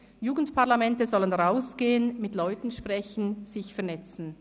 «Jugendparlamente sollen hinausgehen, mit den Leuten reden und sich vernetzen.